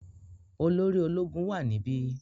Olóri ológun wà níbi.